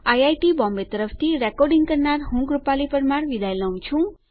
IIT Bombay તરફથી ભાષાંતર કરનાર હું જ્યોતી સોલંકી વિદાય લઉં છું